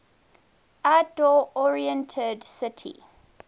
outdoor oriented city